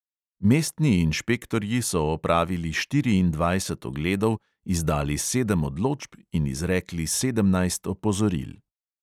Mestni inšpektorji so opravili štiriindvajset ogledov, izdali sedem odločb in izrekli sedemnajst opozoril.